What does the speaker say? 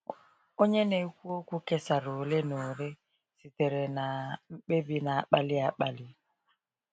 Onye na-ekwu okwu kesara ole na ole sitere na mkpebi na-akpali akpali.